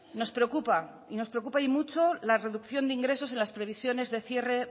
nos preocupa nos preocupa y mucho la reducción de ingresos en las previsiones de cierre